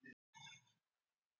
Hann hefur reynst mér ótrúlega vel.